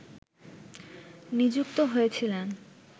নিযুক্ত হয়েছিলেন